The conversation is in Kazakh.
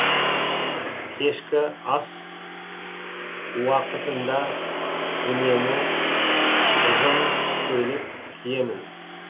кешкі ас уақытында үнемі ұзын көйлек киемін